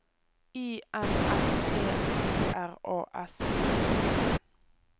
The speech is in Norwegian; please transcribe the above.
I N S P I R A S J O N